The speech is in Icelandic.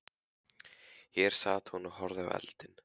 Hér sat hún og horfði í eldinn.